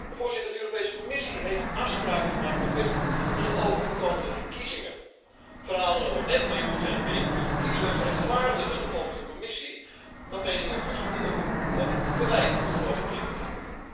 Voorzitter, de Europese Commissie heeft afspraken gemaakt met Facebook met het oog op de komende verkiezingen. Verhalen over nepnieuws en beïnvloeding van kiezers rechtvaardigen volgens de Commissie dat meningen goedgekeurd of verwijderd moeten worden van internet.